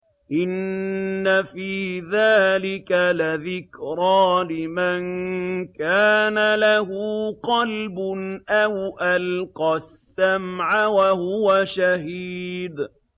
إِنَّ فِي ذَٰلِكَ لَذِكْرَىٰ لِمَن كَانَ لَهُ قَلْبٌ أَوْ أَلْقَى السَّمْعَ وَهُوَ شَهِيدٌ